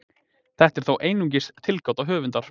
Þetta er þó einungis tilgáta höfundar.